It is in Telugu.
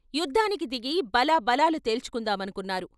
యుద్ధానికి దిగి బలా బలాలు తేల్చుకుందామనుకున్నారు "